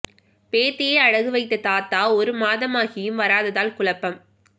பேத்தியை அடகு வைத்த தாத்தா ஒரு மாதமாகியும் வராததால் குழப்பம்